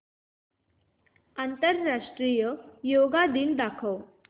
आंतरराष्ट्रीय योग दिन दाखव